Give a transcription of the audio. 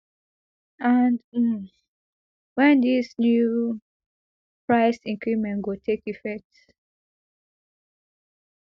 and um wen dis new price increment go take effect